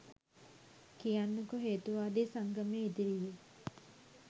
කියන්නකො හේතුවාදී සංගමය ඉදිරියේ